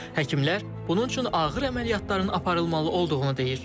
Həkimlər bunun üçün ağır əməliyyatların aparılmalı olduğunu deyir.